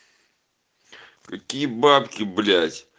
какие бабки блять